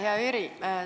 Hea Jüri!